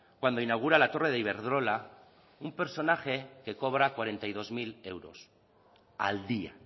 cuando inaugura la torre de iberdrola un personaje que cobra cuarenta y dos mil euros al día